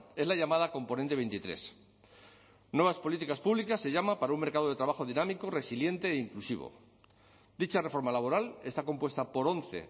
es la llamada componente veintitrés nuevas políticas públicas se llama para un mercado de trabajo dinámico resiliente e inclusivo dicha reforma laboral está compuesta por once